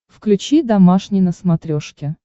включи домашний на смотрешке